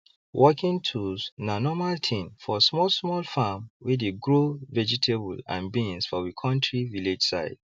working tools na normal thing for smallsmall farms wey dey grow vegetable and beans for we kontri village side